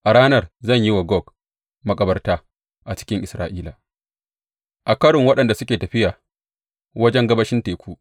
A ranar zan yi wa Gog makabarta a cikin Isra’ila, a kwarin waɗanda suke tafiya wajen gabashin Teku.